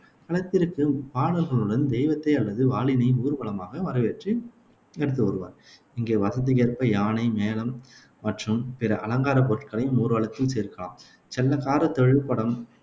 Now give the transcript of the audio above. களத்திற்கு பாடல்களுடன் தெய்வத்தை அல்லது வாளினை ஊர்வலமாக வரவேற்று எடுத்து வருவார். இங்கே வசதிக்கேற்ப யானை, மேளம் மற்றும் பிற அலங்கார பொருட்களையும் ஊர்வலத்தில் சேர்க்கலாம். செல்லக்கார, தொழுபடம்,